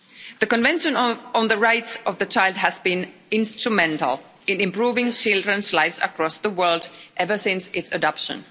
The Convention on the Rights of the Child has been instrumental in improving children's lives across the world ever since its adoption.